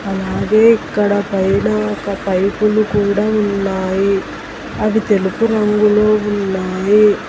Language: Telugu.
అలాగే ఇక్కడ పైన ఒక పైపులు కూడా ఉన్నాయి అవి తెలుపు రంగులో ఉన్నాయి.